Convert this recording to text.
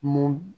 Mun